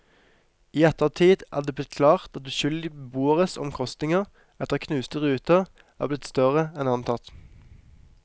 I ettertid er det blitt klart at uskyldige beboeres omkostninger etter knuste ruter er blitt større enn antatt.